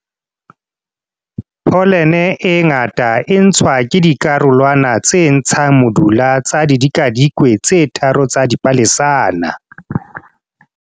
Pholene e ngata e ntshwa ke dikarolwana tse ntshang modula tsa didikadikwe tse tharo tsa dipalesana.